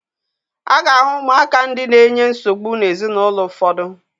A ga-ahụ ụmụaka ndị na-enye nsogbu n'ezinaụlọ ụfọdụ.